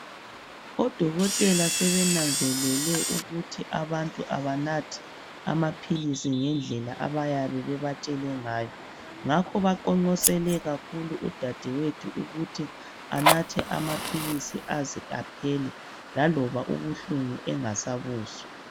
Odokotela sebenanzelele ukuthi abantu abanathi amaphilisi ngendlela abayabe bebatshele ngayo ngakho baqonqosele kakhulu udadewethu ukuthi anathe amaphilisi aze aphele laloba ubuhlungu esengasabuzwa.